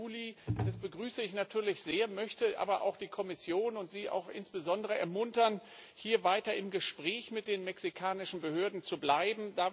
1. Juli begrüße ich natürlich sehr, möchte aber auch die Kommission und auch Sie insbesondere ermuntern, hier weiter im Gespräch mit den mexikanischen Behörden zu bleiben.